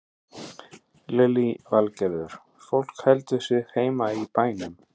Lillý Valgerður: Fólk heldur sig heima í bænum?